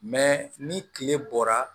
ni kile bɔra